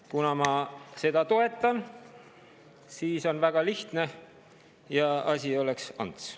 Kuna ma seda toetan, siis on kõik väga lihtne ja asi oleks nagu ants.